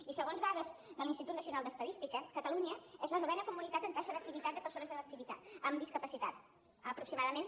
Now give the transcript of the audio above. i segons dades de l’institut nacional d’estadística catalunya és la novena comunitat en taxa d’activitat de persones amb discapacitat aproximadament